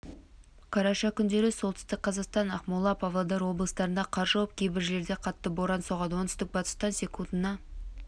қараша күндері солтүстік қазақстан ақмола павлодар облыстарында қар жауып кейбір жерлерде қатты боран соғады оңтүстік-батыстан секундына